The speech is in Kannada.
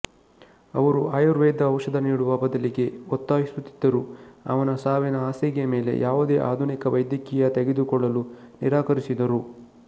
ಅವರು ಆಯುರ್ವೇದ ಔಷಧ ನೀಡುವ ಬದಲಿಗೆ ಒತ್ತಾಯಿಸುತ್ತಿದ್ದರು ಅವನ ಸಾವಿನ ಹಾಸಿಗೆಯ ಮೇಲೆ ಯಾವುದೇ ಆಧುನಿಕ ವೈದ್ಯಕೀಯ ತೆಗೆದುಕೊಳ್ಳಲು ನಿರಾಕರಿಸಿದರು